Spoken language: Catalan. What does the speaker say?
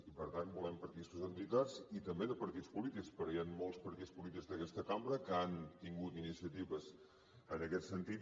i per tant volem participació d’entitats i també de partits polítics perquè hi han molts partits polítics d’aquesta cambra que han tingut iniciatives en aquest sentit